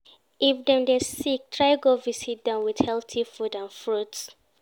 If Dem de sick try go visit dem with healthy food and fruits